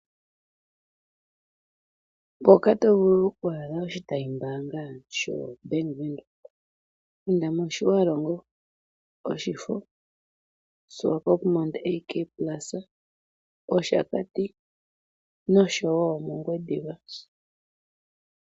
Mpoka to vulu oku adha oshitayi mbaanga sho Bank Windhoek . Inda mOtjiwarongo, mOshifo , Swakopmund AK Plaza, Oshakati nosho woo mOngwediva.